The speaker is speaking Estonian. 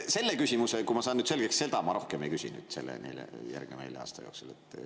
Seda küsimust, kui ma saan nüüd selle selgeks, ma rohkem selle järgneva nelja aasta jooksul ei küsi.